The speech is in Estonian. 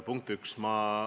Punkt üks.